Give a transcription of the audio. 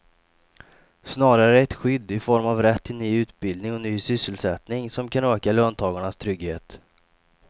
Snarare är det skydd i form av rätt till ny utbildning och ny sysselsättning som kan öka löntagarnas trygghet.